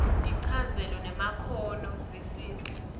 tinchazelo temakhono visisa